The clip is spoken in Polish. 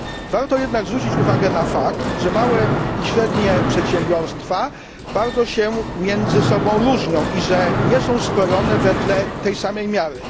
Warto jednak zwrócić uwagę na fakt, że małe i średnie przedsiębiorstwa bardzo się między sobą różnią i że nie są skrojone wedle tej samej miary.